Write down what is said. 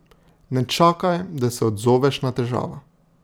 Ne čakaj, da se odzoveš na težavo.